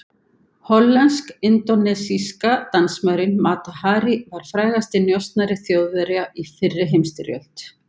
Hollensk-indónesíska dansmærin Mata Hari var frægasti njósnari Þjóðverja í fyrri heimsstyrjöld.